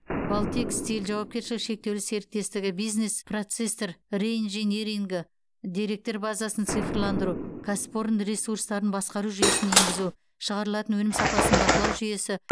балтекстиль жауапкершілігі шектеулі серіктестігі бизнес процестер реинжинирингі деректер базасын цифрландыру кәсіпорын ресурстарын басқару жүйесін енгізу шығарылатын өнім сапасын бақылау жүйесі